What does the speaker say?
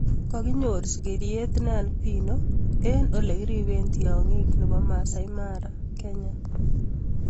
Kagenyor sigiriet ne albino eng ole kirepee tiongik nebo Maasai Mara Kenya